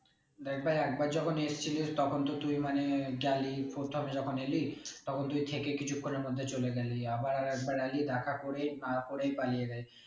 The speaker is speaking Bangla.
দেখ ভাই একবার যখন এসছিলিস তখন তো তুই মানে গেলি প্রথমে জখন এলি কিছুক্ষনের মধ্যে চলে গেলি আবার আরেকবার এলি দেখা করে না করেই পালিয়ে